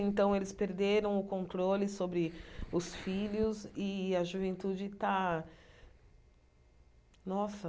Então, eles perderam o controle sobre os filhos e a juventude está... Nossa!